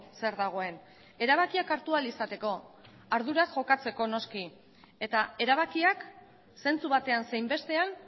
zer dagoen erabakiak hartu ahal izateko arduraz jokatzeko noski eta erabakiak zentzu batean zein bestean